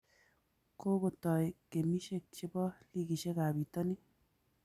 Kogotai gemishek chebo ligiishek ab bitonin